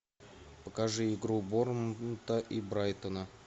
покажи игру борнмута и брайтона